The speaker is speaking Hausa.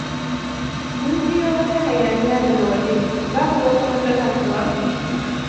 Mun jiyo wata hayaniya daga waje. Babu wata matsala kuwa?